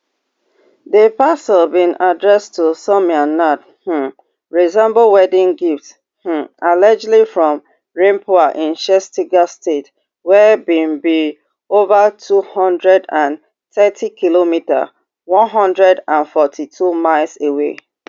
di parcel bin addressed to soumya nad um resemble wedding gift um allegedly from raipur in chattisgarh state wey be be ova two hundred and thirtykm one hundred and forty-two miles away